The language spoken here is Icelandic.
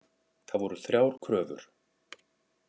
Það voru þrjár kröfur